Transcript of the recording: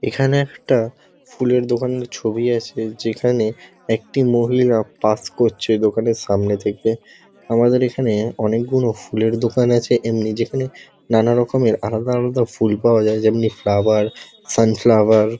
এখানে একটা ফুলের দোকানের ছবি আছে যেখানে একটি মহিলা পাস করছে দোকানের সামনে থেকে। আমাদের এখানে অনেকগুনো ফুলের দোকান আছে এমনি যেখানে নানারকমের আলাদা আলাদা ফুল পাওয়া যায় যেমনি ফ্লাওয়ার সানফ্লাওয়ার --